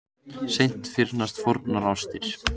Seint fyrnast fornar ástir.